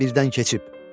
Saat 1-dən keçib.